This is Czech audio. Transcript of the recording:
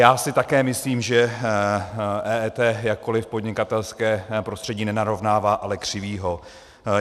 Já si také myslím, že EET jakkoli podnikatelské prostředí nenarovnává, ale křiví ho.